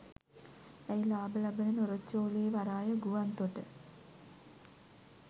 ඇයි ලාභ ලබන නොරොච්චෝලේ වරාය ගුවන්තොට